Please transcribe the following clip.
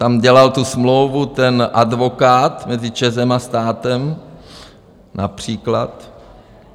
Tam dělal tu smlouvu ten advokát mezi ČEZem a státem například.